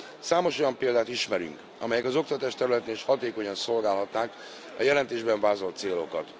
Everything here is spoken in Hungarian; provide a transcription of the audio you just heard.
Számos olyan példát ismerünk, amelyek az oktatás területén is hatékonyan szolgálhatnák a jelentésben vázolt célokat.